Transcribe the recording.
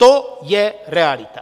To je realita.